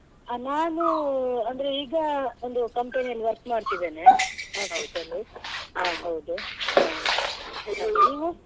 ಹ ನಾನು ಅಂದ್ರೆ ಈಗ ಒಂದು company ಅಲ್ಲಿ work ಮಾಡ್ತಿದ್ದೇನೆ office ಅಲ್ಲಿ ಹೌದು ಹ ನೀವು?